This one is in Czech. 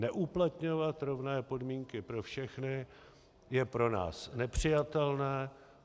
Neuplatňovat rovné podmínky pro všechny je pro nás nepřijatelné.